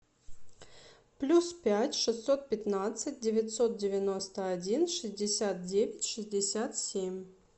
плюс пять шестьсот пятнадцать девятьсот девяносто один шестьдесят девять шестьдесят семь